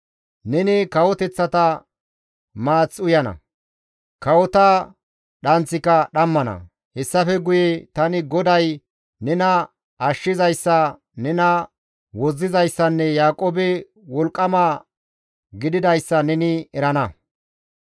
Neni kawoteththata maath uyana; kawota dhanththika dhammana. Hessafe guye tani GODAY nena Ashshizayssa, nena Wozzizayssanne Yaaqoobe Wolqqama gididayssa neni erana.